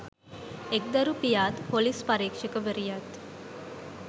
එක්දරු පියාත් ‍පොලිස් පරීක්ෂකවරියත්